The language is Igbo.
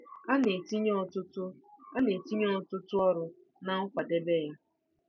A na-etinye ọtụtụ A na-etinye ọtụtụ ọrụ na nkwadebe ya.